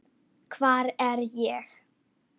hvar er ég?